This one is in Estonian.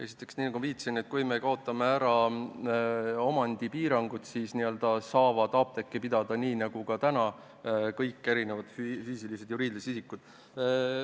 Esiteks, nii nagu ma viitasin – kui me kaotame omandipiirangud, saavad apteeki pidada, nii nagu täna, kõik füüsilised-juriidilised isikud.